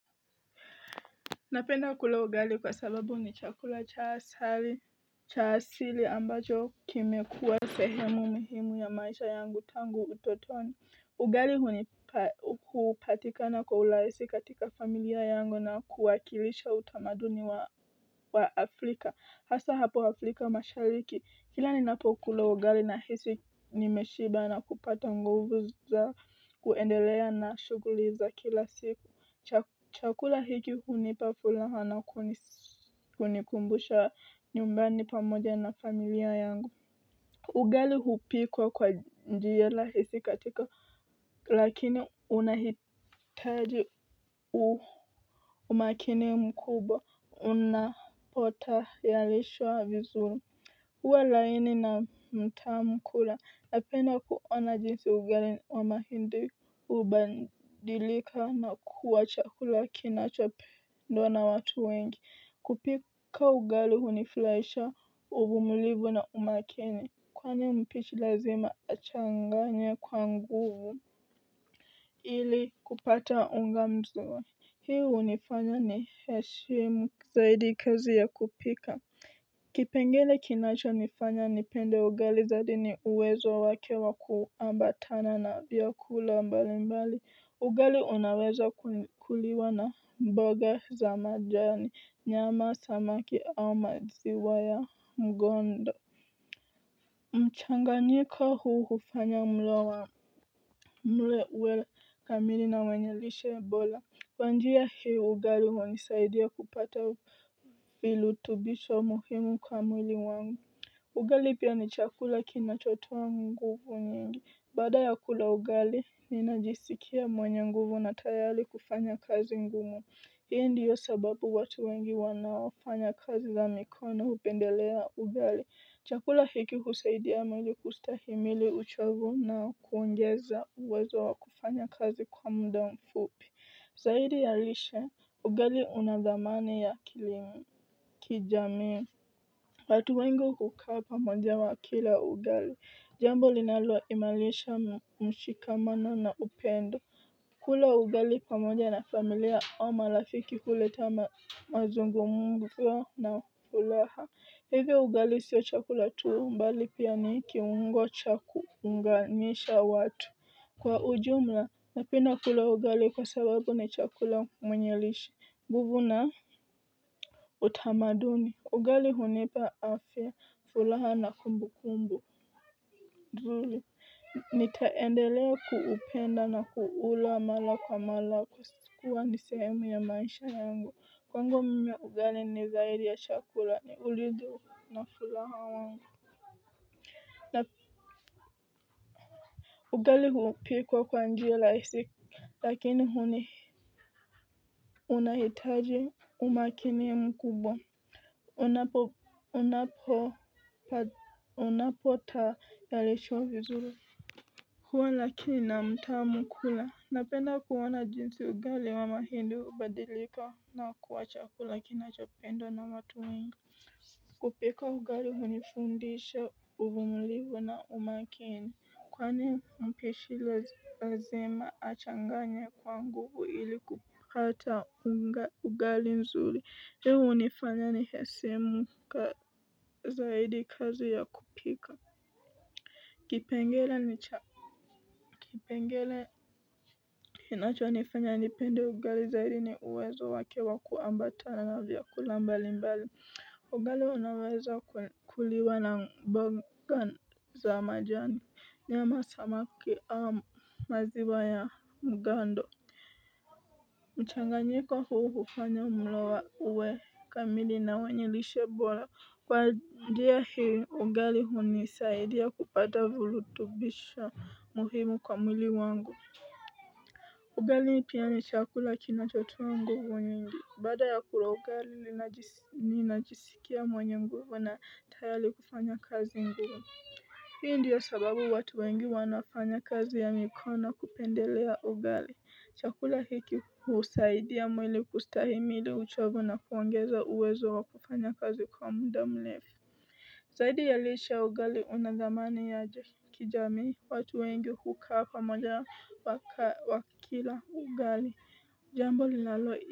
Napenda kula ugali kwa sababu ni chakula cha asari, cha asili ambacho kimekuwa sehemu muhimu ya maisha yangu tangu utotoni. Ugali huni hupatikana kwa ulaisi katika familia yangu na kuwakilisha utamaduni wa Afrika. Hasa hapo Afrika mashariki. Kila ninapo kula ugali nahisi nimeshiba na kupata nguvu za kuendelea na shuguli za kila siku. Chakula hiki hunipa fulaha na kunikumbusha nyumbani pamoja na familia yangu ugali hupikwa kwa njia lahisi katika lakini unahitaji umakini mkubwa unapotayalishwa vizuri huwa laini na mtamu kula napenda kuona jinsi ugali wa mahindi ubadilika na kuwa chakula kinachopendwa na watu wengi kupika ugali hunifulaisha uvumulivu na umakini Kwani mpishi lazima achanganye kwa nguvu Ili kupata unga mzawa Hii unifanya ni heshimu zaidi kazi ya kupika kipengele kinacho nifanya nipende ugali zadi ni uwezo wake wa kuambatana na vyakula mbalimbali ugali unaweza kuliwa na mboga za majani nyama samaki au maziwa ya mgondo mchanganyiko huu hufanya mlo wa mlo uwe kamili na wenye lishe bola kwa njia hii ugali huwa unisaidia kupata filutubisho muhimu kwa mwili wangu ugali pia ni chakula kinachotoa nguvu nyingi baada ya kula ugali ni najisikia mwenye nguvu na tayali kufanya kazi ngumu hii ndiyo sababu watu wengi wanaofanya kazi za mikono upendelea ugali chakula hiki husaidia mwenye kustahimili uchovu na kuongeza uwezo wa kufanya kazi kwa muda mfupi zaidi ya lishe ugali unadhamani ya kilimu kijamii watu wengi hukaa pamoja wa kila ugali. Jambo linalo imalisha mshikamano na upendo. Kula ugali pamoja na familia au malafiki huleta mazungumzo na fulaha. Hivyo ugali sio chakula tuu mbali pia ni kiungo cha kuunganisha watu. Kwa ujumla napenda kula ugali kwa sababu ni chakula mwenye lishe. Nguvu na utamaduni. Ugali hunipa afya, fulaha na kumbu kumbu, nzuli. Nitaendelea kuupenda na kuula mala kwa mala kwa kuwa ni sehemu ya maisha yangu. Kwangu mimi ugali ni zaidi ya chakula, ni ulidhi na fulaha wangu. Ugali hupikwa kwa njia lahisi, lakini huni unahitaji umakini mkubwa. Unapo unapo tayarishwa vizuri huwa lakini na mtamu kula napenda kuona jinsi ugali wa mahindi ubadilika na kuwacha chakula kinachopendwa na watu wengi kupika ugali hunifundisha uvumulivu na umakini kwani mpishi lazima achanganye kwa nguvu ili kupata unga ugali nzuri hii unifanya ni hesimu ka, zaidi kazi ya kupika kipengele ni cha kipengele Kinacho nifanya nipende ugali zaidi ni uwezo wake wa kuambata na vyakula mbali mbali ugali unaweza kuliwa na mboga za majani nyama samaki au maziwa ya mgando mchanganyiko huu kufanya mloa uwe kamili na wenye lishe bora kwa njia hii ugali hunisaidia kupata vulutubisho muhimu kwa mwili wangu ugali pia ni chakula kinachotoa nguvu nyingi baada ya kula ugali ninajisikia mwenye mguvu na tayali kufanya kazi ngumu Hii ndiyo sababu watu wengi wanafanya kazi ya mikono kupendelea ugali chakula hiki husaidia mwili kustahimili uchovu na kuongeza uwezo wa kufanya kazi kwa muda mlefu Zaidi ya lishe ugali unadhamani ya kijamii watu wengi hukaa hapa moja wa kila ugali jambo linalo.